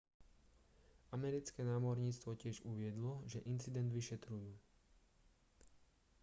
americké námorníctvo tiež uviedlo že incident vyšetrujú